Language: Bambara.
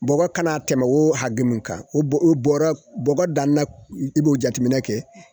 Bɔgɔ kana tɛmɛ o hakɛ mun kan o bɔ bɔrɔ bɔgɔ dan na i b'o jateminɛ kɛ